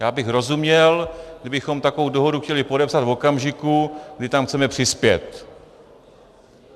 Já bych rozuměl, kdybychom takovou dohodu chtěli podepsat v okamžiku, kdy tam chceme přispět.